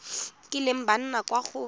kileng ba nna kwa go